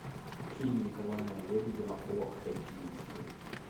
фильм николая лебедева о хоккеисте